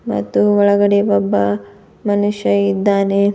ಮತ್ತು ಒಳಗಡೆ ಒಬ್ಬ ಮನುಷ್ಯ ಇದ್ದಾನೆ.